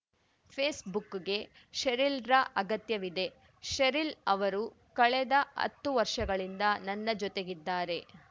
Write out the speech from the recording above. ಫೇಸ್‌ಬುಕ್‌ಗೆ ಶೆರಿಲ್‌ರ ಅಗತ್ಯವಿದೆ ಶೆರಿಲ್‌ ಅವರು ಕಳೆದ ಹತ್ತು ವರ್ಷಗಳಿಂದ ನನ್ನ ಜೊತೆಗಿದ್ದಾರೆ